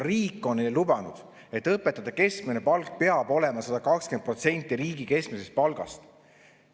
Riik on lubanud, et õpetajate keskmine palk peab olema 120% riigi keskmisest palgast.